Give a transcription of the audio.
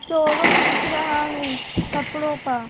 showroom दिख रहा है कपड़ों का --